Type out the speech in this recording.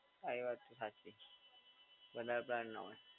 હા એ વાત તો સાચી છે. વધારે પ્લાન ના હોય.